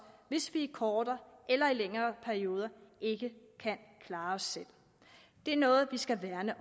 hvis vi i kortere eller længere perioder ikke kan klare os selv det er noget vi skal værne